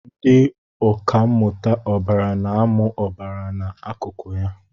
Ndị ọkà mmụta ọbara na-amụ ọbara na akụkụ ya